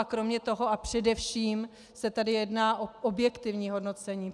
A kromě toho a především se tady jedná o objektivní hodnocení.